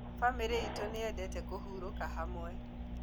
Bamĩrĩ itũ nĩyendete kũhurũka hamwe